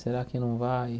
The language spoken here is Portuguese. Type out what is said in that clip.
Será que não vai?